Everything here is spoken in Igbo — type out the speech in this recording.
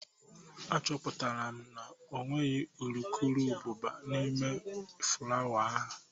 Achọpụtara m na ọ nweghị urukurubụba n'ime ifuru ahụ